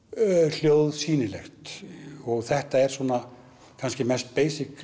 hljóð sýnilegt og þetta er svona kannski mest